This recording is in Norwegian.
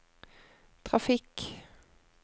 trafikk